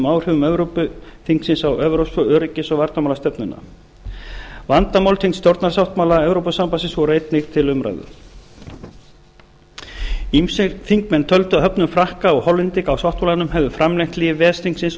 áhrifum evrópuþingsins á evrópsku öryggis og varnarmálastefnuna vandamál tengd stjórnarsáttmála evrópusambandsins voru einnig til umræðu ýmsir þingmenn töldu að höfnun frakka og hollendinga á sáttmálanum hefði framlengt líf ves þingsins